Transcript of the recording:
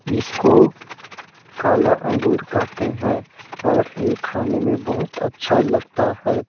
इसको काला अंगूर कहते है और ये खाने में बहोत अच्छा लगता हैं ।